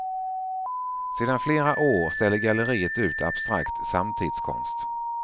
Sedan flera år ställer galleriet ut abstrakt samtidskonst.